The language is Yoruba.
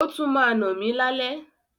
O tún ma nà mi lálẹ́.